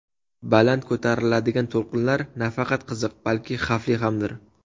Baland ko‘tariladigan to‘lqinlar nafaqat qiziq, balki xavfli hamdir.